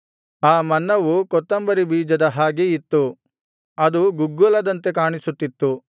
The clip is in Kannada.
ಆ ಮನ್ನವು ಕೊತ್ತುಂಬರಿ ಬೀಜದ ಹಾಗೆ ಇತ್ತು ಅದು ಗುಗ್ಗುಲದಂತೆ ಕಾಣಿಸುತ್ತಿತ್ತು